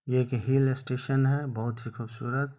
ये एक hill station है बहुत ही खुबसुरत--